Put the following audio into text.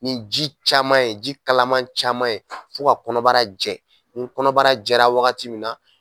Ni ji caman ye, ji kalaman caman ye fo ka kɔnɔbara jɛ. Ni kɔnɔbara jɛra wagati min na